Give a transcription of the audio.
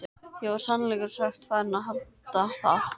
Ég var í sannleika sagt farinn að halda það.